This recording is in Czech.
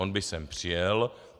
On by sem přijel.